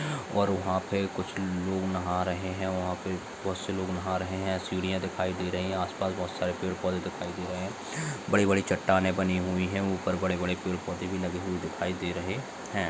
और वहां पर कुछ लोग नहा रहे हैं। वहां पर बहुत से लोग नहा रहे हैं सिडिया दिखाई दे रही है। आस-पास बहुत सारे पेड़ पौधे दिखाई दे रहे हैं। बड़ी-बड़ी चट्टानें बनी हुई है। ऊपर बड़े-बड़े पेड़ पौधे भी दिखाई दे रहे हैं।